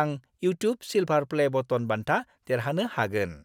आं "YouTube silver play button" बान्था देरहानो हागोन।